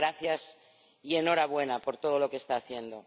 Así que gracias y enhorabuena por todo lo que está haciendo.